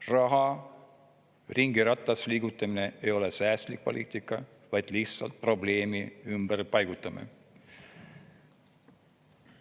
Raha ringiratast liigutamine ei ole säästlik poliitika, vaid lihtsalt probleemi ümberpaigutamine.